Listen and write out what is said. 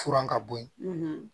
Furan ka bɔ yen